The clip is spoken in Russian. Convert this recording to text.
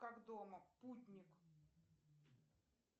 как дома путник